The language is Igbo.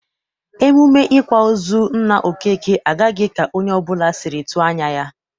Emume ịkwa ozu nna Okeke agaghị ka onye ọbụla sịrị tụ anya.